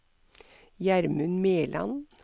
Gjermund Mæland